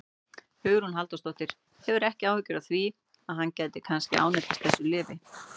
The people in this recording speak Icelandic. Hugrún Halldórsdóttir: Hefurðu ekki áhyggjur af því að hann gæti kannski ánetjast þessu lyfi?